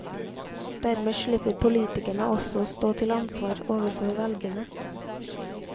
Dermed slipper politikerne også å stå til ansvar overfor velgerne.